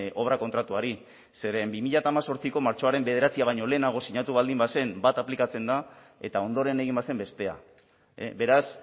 obra kontratuari zeren bi mila hemezortziko martxoaren bederatzia baino lehenago sinatu baldin bazen bat aplikatzen da eta ondoren egin bazen bestea beraz